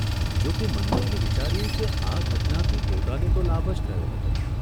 જોકે મન્મથે વિચાર્યું કે આ ઘટનાથી પોતાને તો લાભ જ થયો હતો.